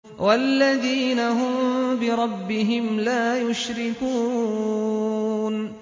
وَالَّذِينَ هُم بِرَبِّهِمْ لَا يُشْرِكُونَ